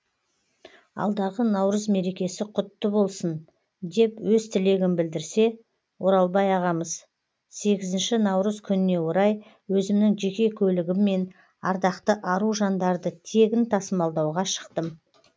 алдағы наурыз мерекесі құтты болсын деп өз тілегін білдірсе оралбай ағамыз сегізінші наурыз күніне орай өзімнің жеке көлігіммен ардақты ару жандарды тегін тасымалдауға шықтым